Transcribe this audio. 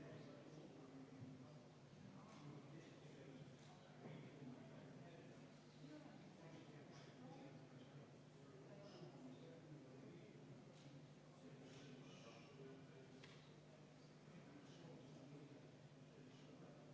Austatud Riigikogu, panen hääletusele 11. muudatusettepaneku, mille on esitanud põhiseaduskomisjon ja mida juhtivkomisjon on arvestanud täielikult.